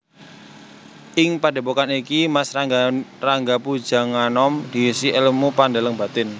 Ing padhèpokan iki Mas Ranggapujanganom diisi èlmu pandeleng batin